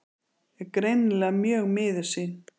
Er greinilega mjög miður sín.